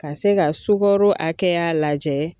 Ka se ga sugaro akɛya lajɛ